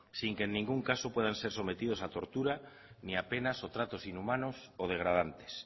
sin que en ningún caso puedan ser sometidos a tortura ni a penas o tratos inhumanos o degradantes